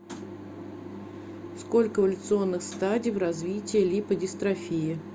сколько эволюционных стадий в развитии липодистрофии